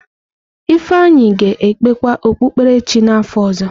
Ifeanyi ga-ekpekwa okpukpere chi n’afọ ọzọ.